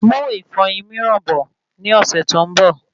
Mú ìfọyín miiran bọ̀ ní ọsẹ tó n bọ